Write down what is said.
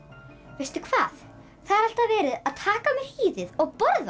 veistu hvað það er alltaf verið að taka af mér hýðið og borða